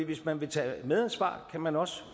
hvis man vil tage medansvar kan man også